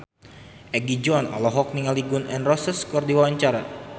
Egi John olohok ningali Gun N Roses keur diwawancara